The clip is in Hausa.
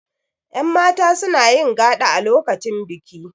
yanmata suna yin gaɗa a lokacin biki